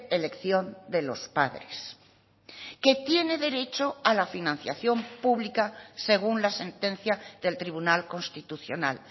elección de los padres que tiene derecho a la financiación pública según la sentencia del tribunal constitucional